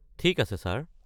ঠিক আছে, ছাৰ।